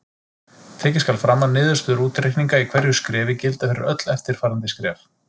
Tekið skal fram að niðurstöður útreikninga í hverju skrefi gilda fyrir öll eftirfarandi skref.